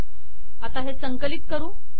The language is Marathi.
आता हे संकलित करू